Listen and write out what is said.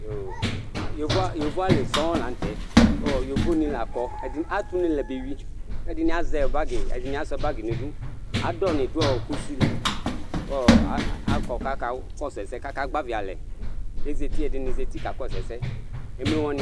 Yovoalɩ sɔɔ lanʊtɛ, kʊ yovonɩ lakɔ Atʊ ʊne la bewʊɩ, kɛdɩnɩ azɛ bagɩ kɛdɩnɩ asʊa bagɩ nɩdʊ Adɔ nɩdʊ kʊsɩ lɩ kʊ akɔ kaka kɔsʊ ɛsɛ, kaka gbavɩ alɛ, kɛdɩnɩ zatɩ ka kɔsʊ ɛsɛ Emlo wanɩ